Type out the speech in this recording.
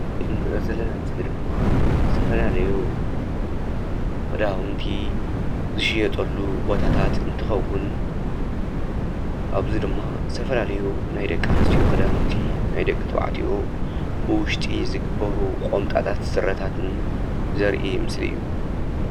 እዚ እንረእዮ ዘለና ምስሊ ድማ ዝተፋለለዩ ክዳውንቲ ዝሽየጠሉ ቦታታት እንትከውን ኣብዚ ድማ ዝተፈላለዩ ናይ ደቂ ኣንስትዮ ክዳውንቲ ናይ ደቂ ተባዕትዮ ብውሽጢ ዝግበሩ ቁምጣታት ስረታትን ዘርኢ ምስሊ እዩ።